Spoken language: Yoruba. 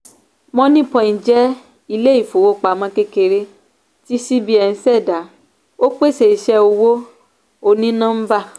moniepoint jẹ ilé-ìfowópamọ́ kékeré tí cbn ṣẹda ó pèsè iṣẹ owó oní-nọ́ḿbà